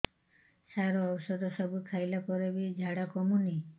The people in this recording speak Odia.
ସାର ଔଷଧ ସବୁ ଖାଇଲା ପରେ ବି ଝାଡା କମୁନି